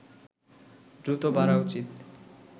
দ্রুত বাড়া উচিত